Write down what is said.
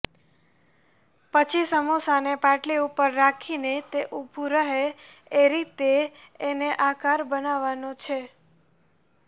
પછી સમોસાને પાટલી ઉપર રાખીને તે ઉભુ રહે એ રીતે એનો આકાર બનાવવાનો છે